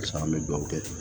Sisan an bɛ dugawu kɛ ten